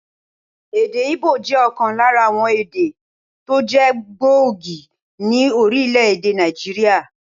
Èdè Ígbò jẹ́ òkan lára àwon èdè tó jé gbòógì ní Orílèdè Nàìjíríà